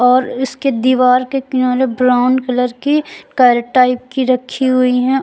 और इसके दीवार के किनारे ब्राउन कलर की कैरेट टाइप की रखी हुई हैं।